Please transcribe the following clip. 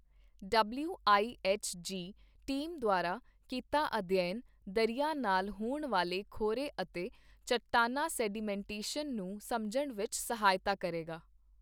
W I H G team ਦੁਆਰਾ ਕੀਤਾ ਅਧਿਐਨ ਦਰਿਆ ਨਾਲ ਹੋਣ ਵਾਲੇ ਖੋਰੇ ਅਤੇ ਚਟਾਨਾਂ ਸੈਡੀਮੈਂਟੇਸ਼ਨ ਨੂੰ ਸਮਝਣ ਵਿੱਚ ਸਹਾਇਤਾ ਕਰੇਗਾ